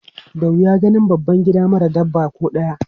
Da wuya ganin babban gida mara dabba ko ɗaya.